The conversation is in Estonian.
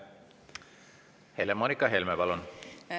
Helle-Moonika Helme, palun!